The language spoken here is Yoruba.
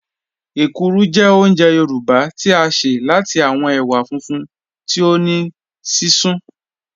Èkúrú jẹ́ ọ̀únjẹ̀ Yorùbá tí a ṣẹ̀ láti awọn èwà fúnfún tí o ní sísún